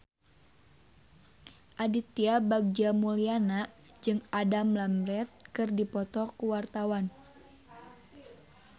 Aditya Bagja Mulyana jeung Adam Lambert keur dipoto ku wartawan